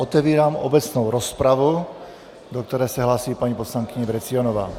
Otevírám obecnou rozpravu, do které se hlásí paní poslankyně Vrecionová.